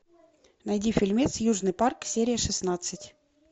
найди фильмец южный парк серия шестнадцать